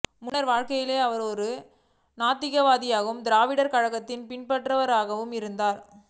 முன்னர் வாழ்க்கையில் அவர் ஒரு நாத்திகராகவும் திராவிடர் கழகத்தின் பின்பற்றுபவராகவும் இருந்தார்